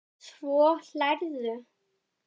Svo hlærðu.